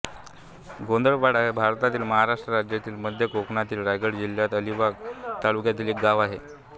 गोंधळपाडा हे भारतातील महाराष्ट्र राज्यातील मध्य कोकणातील रायगड जिल्ह्यातील अलिबाग तालुक्यातील एक गाव आहे